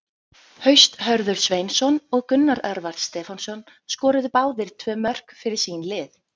Haust Hörður Sveinsson og Gunnar Örvar Stefánsson skoruðu báðir tvö mörk fyrir sín lið.